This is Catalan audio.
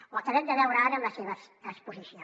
ho acabem de veure ara en la seva exposició